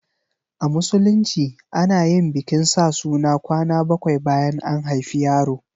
A Musulunci ana yin bikin sa suna kwana bakwai bayan an haifi yaro.